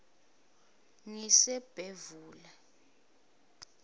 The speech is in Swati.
ngisebhevula